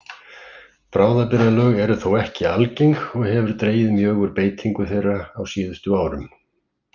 Bráðabirgðalög eru þó ekki algeng og hefur dregið mjög úr beitingu þeirra á síðustu árum.